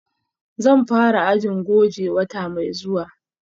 Zan fara ajin goje wata mai zuwa